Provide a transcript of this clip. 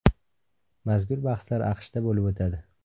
Mazkur bahslar AQShda bo‘lib o‘tadi.